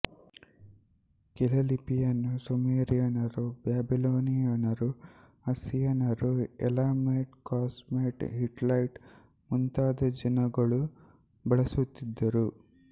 ಕೀಲಲಿಪಿಯನ್ನು ಸುಮೇರಿಯನರು ಬ್ಯಾಬಿಲೋನಿಯನರು ಅಸ್ಸೀಯನರು ಎಲಾಮೈಟ್ ಕಾಸೈಟ್ ಹಿಟ್ಟೈಟ್ ಮುಂತಾದ ಜನಗಳು ಬಳಸುತ್ತಿದ್ದರು